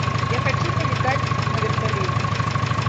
я хочу полетать на вертолете